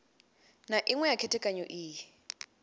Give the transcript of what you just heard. na iṅwe ya khethekanyo iyi